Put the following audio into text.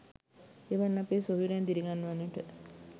එවන් අපේ සොහොයුරන් දිරිගන්වන්නට